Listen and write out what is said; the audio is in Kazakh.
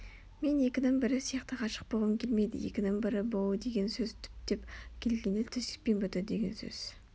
мен екінің бірі сияқты ғашық болғым келмейді екінің бірі болу деген сөз түптеп келгенде төсекпен біту деген сөз